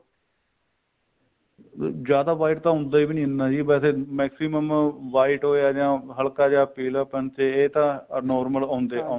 ਅਹ ਜਿਆਦਾ white ਤਾਂ ਹੁੰਦਾ ਵੀ ਨੀ ਇੰਨਾ ਵੈਸੇ maximum white ਹੋਇਆ ਜਾਂ ਹਲਕਾ ਜਾਂ ਪੀਲਾ ਪਨ ਇਹ ਤਾਂ normal ਆਉਂਦਾ ਈ ਆਉਂਦਾ